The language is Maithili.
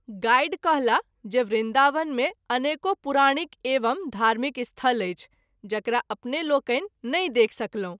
गाइड कहला जे वृन्दावन मे अनेको पुराणिक एवं धार्मिक स्थल अछि जकरा अपने लोकनि नहिं देख सकलहुँ।